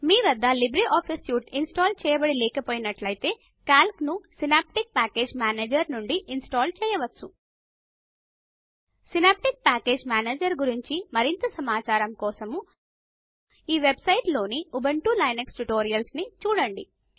మీ వద్ద LibreOffice suite install చేయబడి లేకపోయినట్లాతే కాల్క్ ను సినాప్టిక్ పాకేజ్ మానేజర్ నుండి ఇన్స్టాల్ చేయవచ్చు సినాప్టిక్ ప్యాకేజీ మేనేజర్ గురించి మరింత సమాచారం కోసం ఈ వెబ్ సైట్ లో ఉబుంటూ లినక్స్ ట్యుటోరియల్స్ ని చూడండి